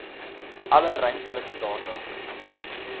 alle ruimtelike data